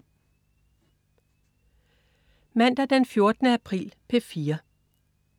Mandag den 14. april - P4: